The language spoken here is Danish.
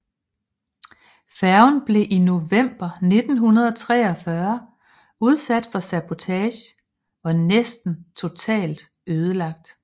Færgen blev i november 1943 udsat for sabotage og næsten totalt ødelagt